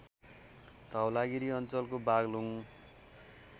धवलागिरी अञ्चलको बागलुङ